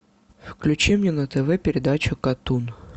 включи мне на тв передачу катун